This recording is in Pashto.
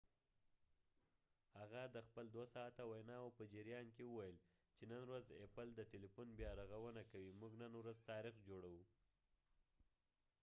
هغه د خپل ۲ ساعته ویناو په جریان کې وویل چې نن ورځ ايپل د تيلیفون بیا رغونه کوي، موږ نن ورځ تاریخ جوړوو"۔